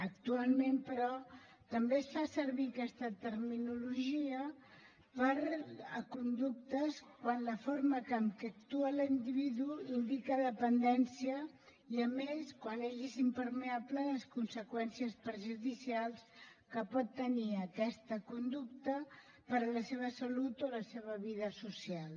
actualment però també es fa servir aquesta terminologia per a conductes quan la forma amb què actua l’individu indica dependència i a més quan ell és impermeable a les conseqüències perjudicials que pot tenir aquesta conducta per a la seva salut o la seva vida social